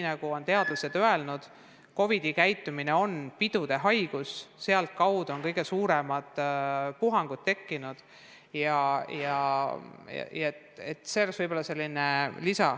Nagu on teadlased öelnud: COVID-19 on pidude haigus, just sealt on kõige suuremad puhangud alguse saanud.